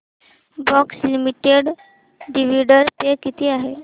Bosch limited dividend pay किती आहे